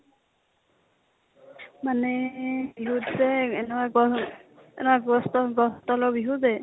মানে বিহুত যে এনেকুৱা, এনেকুৱা গছ ত গছ তলৰ বিহু যে